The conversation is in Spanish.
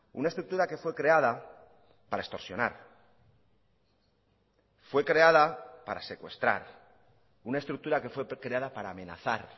una estructura que fue creada para extorsionar fue creada para secuestrar una estructura que fue creada para amenazar